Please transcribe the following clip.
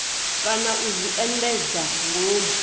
kana u zwi endedza ngomu